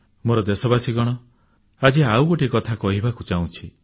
ମୋର ଦେଶବାସୀଗଣ ଆଜି ଆଉ ଗୋଟିଏ କଥା କହିବାକୁ ଚାହୁଁଛି